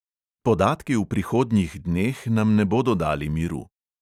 Podatki v prihodnjih dneh nam ne bodo dali miru.